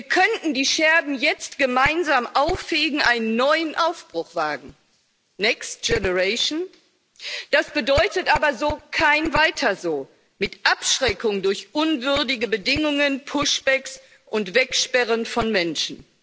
Wir könnten die Scherben jetzt gemeinsam ausfegen, einen neuen Aufbruch wagen. Next Generation das bedeutet aber kein weiter so mit Abschreckung durch unwürdige Bedingungen, Push Backs und Wegsperren von Menschen.